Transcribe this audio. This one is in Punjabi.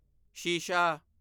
ਸ਼ੀਸ਼ਾ